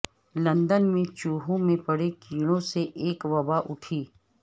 London میں چوہوں میں پڑے کیڑوں سے ایک وبا اٹھی